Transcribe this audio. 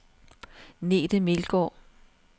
Nete Melgaard